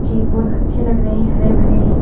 की बहुत अच्छे लग रहे हैं हरे-भरे हैं ।